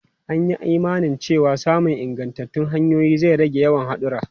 An yi imanin cewa samun ingantattun hanyoyi zai rage yawan hadura.